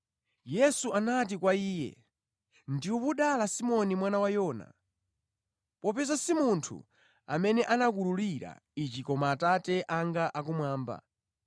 Yesu anati kwa iye, “Ndiwe wodala Simoni mwana wa Yona, popeza si munthu amene anakuwululira izi koma Atate anga akumwamba.